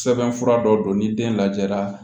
Sɛbɛnfura dɔ don ni den lajɛra